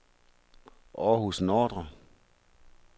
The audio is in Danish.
Århus Nordre